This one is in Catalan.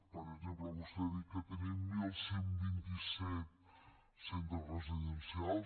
per exemple vostè ha dit que tenim onze vint set centres residencials